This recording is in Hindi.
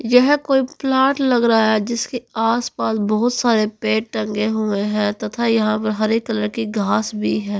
यहा कोइ प्लॉट लग रहा है जिसकी आस पास बहोत सारे पेड़ टंगे हुए है तथा यहाँ पे हरे कलर के घास भी है।